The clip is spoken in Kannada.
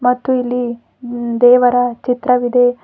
ಮತ್ತು ಇಲ್ಲಿ ಹಿಂ ದೇವರ ಚಿತ್ರವಿದೆ.